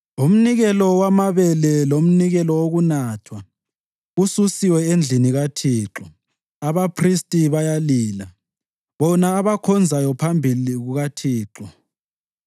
Umnikelo wamabele lomnikelo wokunathwa kususiwe endlini kaThixo. Abaphristi bayalila, bona abakhonzayo phambi kukaThixo.